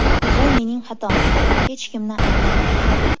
Bu mening xatom edi, hech kimni ayblamayman.